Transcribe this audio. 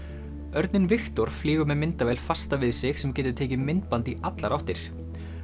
örninn Viktor flýgur með myndavél fasta við sig sem getur tekið myndband í allar áttir